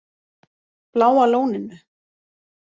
Bláa Lóninu